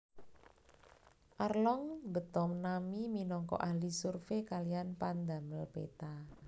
Arlong mbeta Nami minangka ahli survey kaliyan pandamel peta